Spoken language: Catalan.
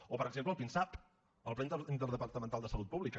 o per exemple el pinsap el pla interdepartamental de salut pública